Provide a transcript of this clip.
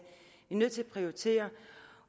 nødt til at prioritere